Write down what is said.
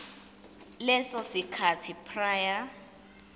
leso sikhathi prior